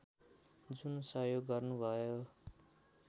जुन सहयोग गर्नुभयो